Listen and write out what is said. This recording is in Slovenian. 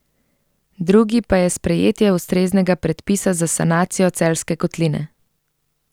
Drugi pa je sprejetje ustreznega predpisa za sanacijo Celjske kotline.